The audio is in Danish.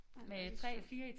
Ej hvor det sjovt